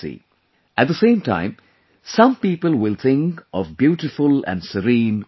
At the same time, some people will think of beautiful and serene Orchha